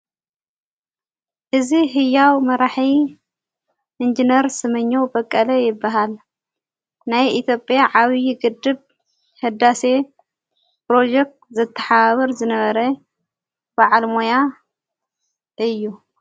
እዝ ሕያው መራሒ ኢንጀነር ሰመኘው በቀለ ይበሃል ናይ ኢቶጴያ ዓዊዪ ግድብ ሕዳሴየየ ፕሮጀክት ዘተሓባብር ዝነበረ ብዓል ሞያ እዩ::